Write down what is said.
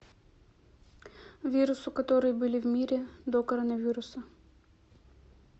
вирусы которые были в мире до коронавируса